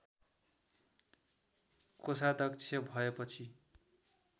कोषाध्यक्ष भएपछि